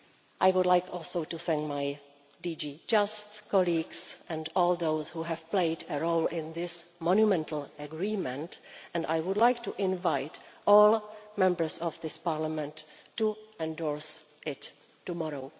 I would like also to thank my DG JUST colleagues and all those who have played a role in this monumental agreement, and I would like to invite all Members of this Parliament to endorse it tomorrow.